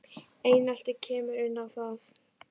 Einelti kemur inn í það.